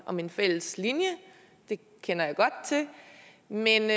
om en fælles linje det kender jeg godt til men jeg